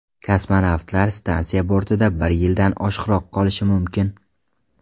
Kosmonavtlar stansiya bortida bir yildan oshiqroq qolishi mumkin.